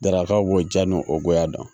Daraka b'o diyan ni o goya don